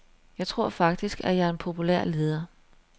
Jeg tror faktisk, at jeg er en populær leder.